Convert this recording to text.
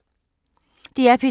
DR P2